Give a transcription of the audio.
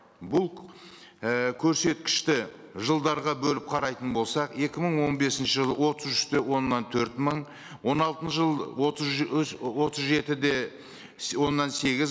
бұл ііі көрсеткішті жылдарға бөліп қарайтын болсақ екі мың он бесінші жылы отыз үш те оннан төрт мың он алты жыл отыз отыз жеті де оннан сегіз